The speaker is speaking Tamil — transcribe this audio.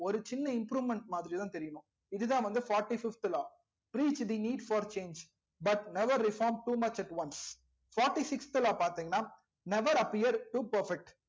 ஒரு சின்ன improvement மாதிரிதா தெரியும் மா இதுதா வந்து fourty fifth law preech the need for change but never reform too much at once fourty sixth law law பாத்திங்கனா never appear to good perfect